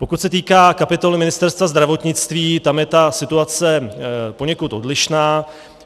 Pokud se týká kapitoly Ministerstva zdravotnictví, tam je ta situace poněkud odlišná.